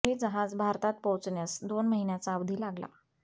हे जहाज भारतात पोचण्यास दोन महिन्याचा अवधी लागला